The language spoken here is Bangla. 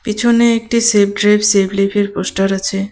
পিছনে একটি সেফ ড্রাইভ সেভ লিভ এর পোস্টার আছে.